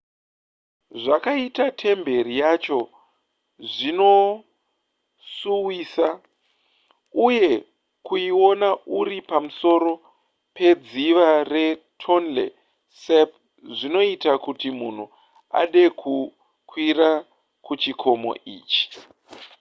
zvakaita temberi yacho zvinosuwisa uye kuiona uri pamusoro pedziva retonle sap zvinoita kuti munhu ade kukwira kuchikomo ichi